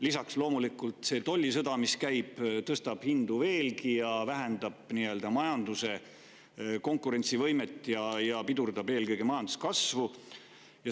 Lisaks, see tollisõda, mis käib, tõstabloomulikult hindu veelgi, vähendab majanduse konkurentsivõimet ja pidurdab eelkõige majanduskasvu.